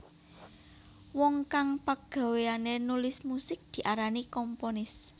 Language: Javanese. Wong kang pagawéane nulis musik diarani komponis